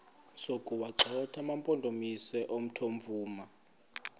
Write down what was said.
sokuwagxotha amampondomise omthonvama